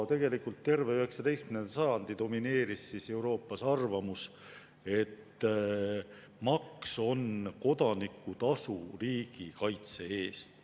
Tegelikult terve 19. sajandi domineeris Euroopas arvamus, et maks on kodaniku tasu riigikaitse eest.